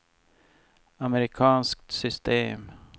amerikanskt system